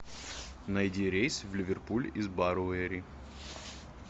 найди рейс в ливерпуль из баруэри